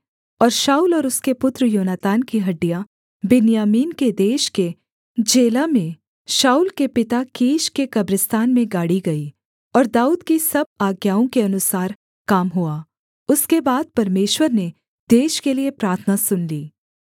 और शाऊल और उसके पुत्र योनातान की हड्डियाँ बिन्यामीन के देश के जेला में शाऊल के पिता कीश के कब्रिस्तान में गाड़ी गईं और दाऊद की सब आज्ञाओं के अनुसार काम हुआ उसके बाद परमेश्वर ने देश के लिये प्रार्थना सुन ली